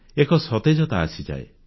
ଏକ ସତେଜତା ଆସିଯାଏ